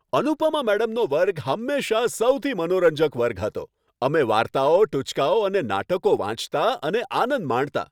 અનુપમા મેડમનો વર્ગ હંમેશાં સૌથી મનોરંજક વર્ગ હતો. અમે વાર્તાઓ, ટુચકાઓ અને નાટકો વાંચતા અને આનંદ માણતા.